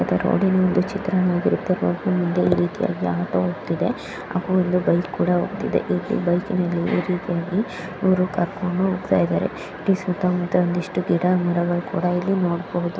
ಇದು ರೋಡಿನ ಒಂದು ಚಿತ್ರಣ ವಾಗಿರುತ್ತೆ ಸ್ವಲ್ಪ ಮುಂದೆ ಒಂದು ರೀತಿಯಾಗಿ ಆಟೋ ಹೋಗ್ತಿದೆ ಹಾಗೂ ಒಂದು ಬೈಕ್ ಕೂಡ ಹೋಗ್ತಿದೆ ಇಲ್ಲಿ ಬೈಕಿನಲ್ಲಿ ಈ ರೀತಿಯಾಗಿ ಇವ್ರು ಕರ್ಕೊಂಡು ಹೋಗ್ತಿದ್ದಾರೆ ಇಲ್ಲಿ ಸುತ್ತಮುತ್ತ ಒಂದಿಷ್ಟು ಗಿಡ ಮರಗಳು ಕೂಡ ಇಲ್ಲಿ ನೋಡಬಹುದು.